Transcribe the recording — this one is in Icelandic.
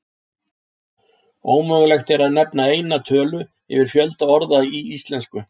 Ómögulegt er að nefna eina tölu yfir fjölda orða í íslensku.